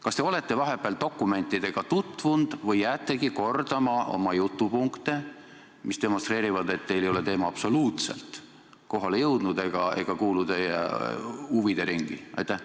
Kas te olete vahepeal dokumentidega tutvunud või jäätegi kordama jutupunkte, mis demonstreerivad, et teile ei ole teema absoluutselt kohale jõudnud ega kuulu teie huvideringi?